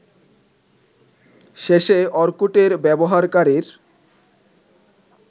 শেষে অর্কুটের ব্যবহারকারীর